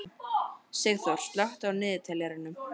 Sigþór, slökktu á niðurteljaranum.